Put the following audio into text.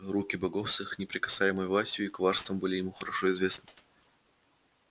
руки богов с их непререкаемой властью и коварством были ему хорошо известны